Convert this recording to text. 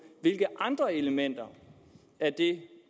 hvilke andre elementer af det